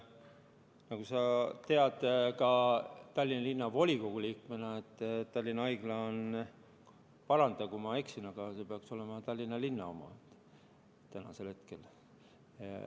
Nagu sa tead ka Tallinna Linnavolikogu liikmena, Tallinna Haigla – paranda, kui ma eksin – peaks olema Tallinna linna oma hetkel.